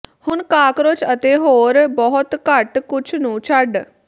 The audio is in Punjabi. ਹੁਣ ਕਾਕਰੋਚ ਅਤੇ ਹੋਰ ਬਹੁਤ ਘੱਟ ਕੁਝ ਨੂੰ ਛੱਡ